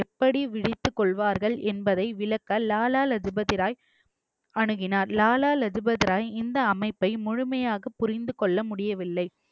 எப்படி விழித்துக் கொள்வார்கள் என்பதை விளக்க லாலா லஜு பதி ராய் அணுகினார் லாலா லஜு பதி ராய் இந்த அமைப்பை முழுமையாக புரிந்து கொள்ள முடியவில்லை